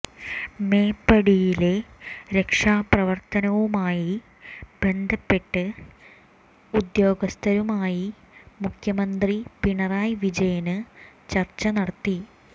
മേപ്പാടിയിലെ രക്ഷാപ്രവര്ത്തനവുമായി ബന്ധപ്പെട്ട് ബന്ധപ്പെട്ട ഉദ്യോഗസ്ഥരുമായി മുഖ്യമന്ത്രി പിണറായി വിജയന് ചര്ച്ച നടത്തി